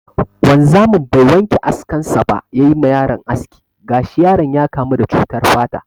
Wanzamin bai wanke askan sa ba ya yi ma yaron aski, gashi yaron ya kamu da cutar fata.